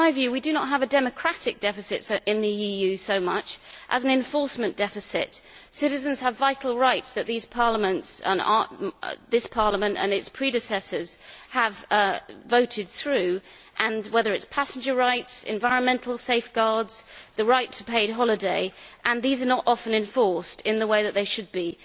In my view, we do not have a democratic deficit in the EU so much as an enforcement deficit. Citizens have vital rights that this Parliament and its predecessors have voted through, and whether it is passenger rights, environmental safeguards, the right to a paid holiday these are not often enforced in the way that they should be.